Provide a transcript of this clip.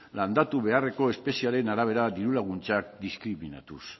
landatu beharreko espeziearen arabera diru laguntzak diskriminatuz